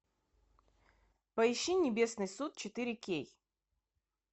поищи небесный суд четыре кей